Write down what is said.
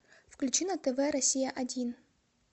включи на тв россия один